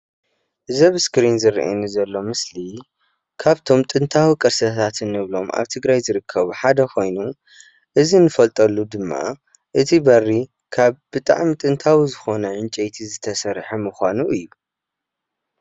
እዚ ኣብቲ ምስሊ ዝረአ ዘሎ ምስሊ ካብቶም ጥናታውያን ቅርሲ ኮይኑ እቲ በሪ ኸዓ ካብ ጥንታዊ ዕንፀይቲ ዝተሰረሐ እዩ።